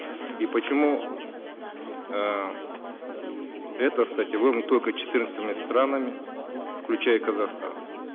и почему э эта статья только четырнадцатью странами включая казахстан